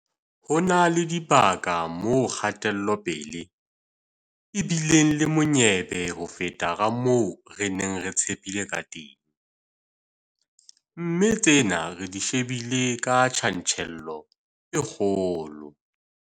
Ho na le dibaka moo kgatelopele e bi leng monyebe ho feta ka moo re neng re tshepile kateng, mme tsena re di shebile ka tjantjello e kgolo.